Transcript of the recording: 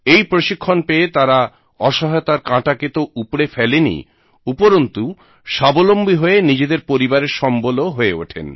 এই প্রশিক্ষণ পেয়ে তাঁরা অসহায়তার কাঁটাকে তো উপড়ে ফেলেনই উপরন্তু স্বাবলম্বী হয়ে নিজেদের পরিবারের সম্বলও হয়ে ওঠেন